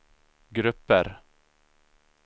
grupper